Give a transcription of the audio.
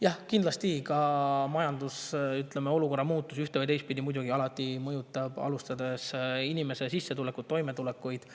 " Jah, kindlasti, majandusolukorra muutus ühte‑ või teistpidi muidugi alati mõjutab inimesi, alustades sissetulekust ja toimetulekust.